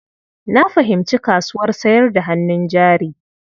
Na fahimci kasuwar sayar da hannun jari.